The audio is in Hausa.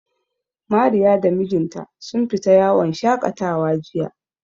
Mariya da mijinta sun fita yawon shaƙatawa jiya.